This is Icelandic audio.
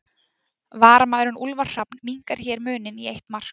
Varamaðurinn Úlfar Hrafn minnkar hér muninn í eitt mark.